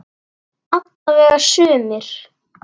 Alla vega sumir.